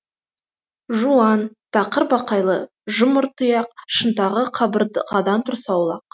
жуан тақыр бақайлы жұмыр тұяқ шынтағы қабырғадан тұрса аулақ